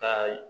Ka